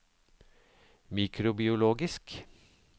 mikrobiologisk